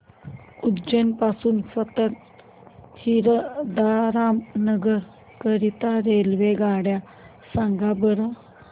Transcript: उज्जैन पासून संत हिरदाराम नगर करीता रेल्वेगाड्या सांगा बरं